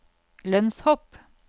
lønnshopp